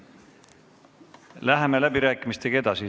Läheme läbirääkimistega edasi.